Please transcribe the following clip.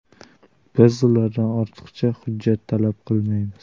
Biz ulardan ortiqcha hujjat talab qilmaymiz.